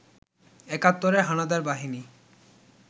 একাত্তরের হানাদার বাহিনী